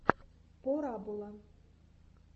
порабола